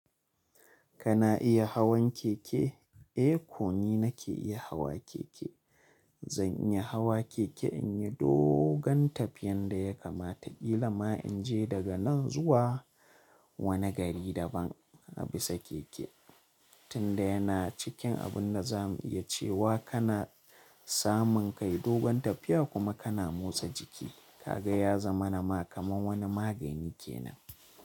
Kana iya hawan keke? Eh, ko ni nake iya hawa keke. Zan iya hawa keke in yi dogon tafiyan da ya kama ta ƙila ma in je daga nan zuwa wani gari daban a bisa keke. Tunda yana cikin abun da za mu iya cewa kana samun kai dogon tafiya kuma kana motsa jiki, ka ga ya zama na ma kamar wani magani kenan.